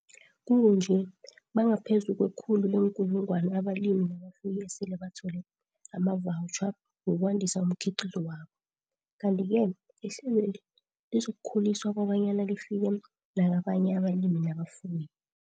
Kukunje, bangaphezulu kwekhulu leenkulungwana abalimi nabafuyi esele bathole amavawutjha wokwandisa umkhiqizo wabo, kanti-ke ihlelweli lizokukhuliswa kobanyana lifike nakabanye abalimi nabafuyi.